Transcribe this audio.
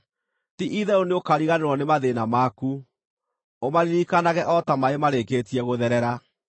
Ti-itherũ nĩũkariganĩrwo nĩ mathĩĩna maku, ũmaririkanage o ta maaĩ marĩkĩtie gũtherera.